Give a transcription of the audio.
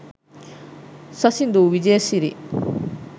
sasindu wijesiri